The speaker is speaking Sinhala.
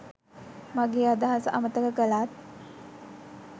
මගේ අදහස අමතක කළත්